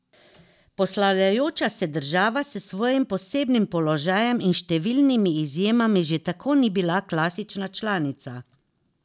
Poslavljajoča se država s svojim posebnim položajem in številnimi izjemami že tako ni bila klasična članica.